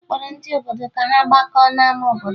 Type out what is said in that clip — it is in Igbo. A kpọrọ ndị obodo ka ha gbakọọ n'ama obodo